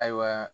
Ayiwa